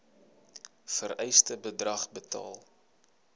vereiste bedrag betaal